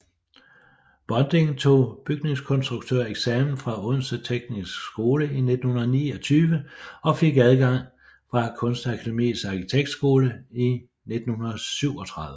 Bonding tog bygningskonstruktøreksamen fra Odense Tekniske Skole 1929 og fik afgang fra Kunstakademiets Arkitektskole i 1937